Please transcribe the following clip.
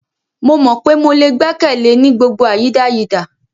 Mo mọ pe mo le gbẹkẹle e ni gbogbo awọn ayidayida.